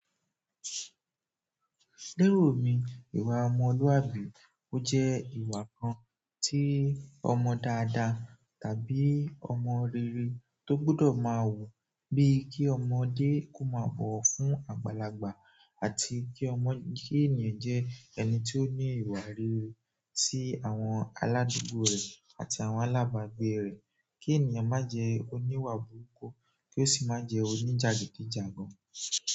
Lérò mi, ìwà ọmọlúwàbí ó jẹ́ ìwà kan tí ọmọ dáadáa tàbí ọmọ rere tó gbọdọ̀ máa wù, bí kí ọmọdé k'ó máa bọ̀wọ̀ fún àgbàlagbà àti kí ọmọ—kí ènìyàn jẹ́ ẹni tí ó ní ìwà rere sí àwọn aládùgbò rẹ̀ àti àwọn alábàgbé rẹ̀. Kí ènìyàn má jẹ́ oní'wà burúkú, kí ó sì má jẹ́ oní jàgídíjàgan.